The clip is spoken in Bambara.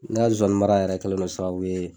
N ga zonzanimara yɛrɛ kɛlen don sababu ye